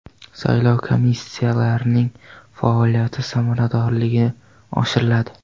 Saylov komissiyalarining faoliyati samaradorligi oshiriladi.